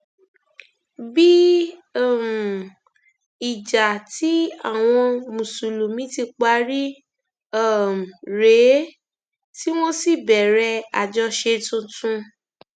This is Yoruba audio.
bí um ìjà tí àwọn mùsùlùmí ti parí um rèé tí wọn sì bẹrẹ àjọṣe tuntun